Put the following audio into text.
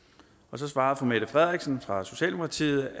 så svarede fru mette frederiksen fra socialdemokratiet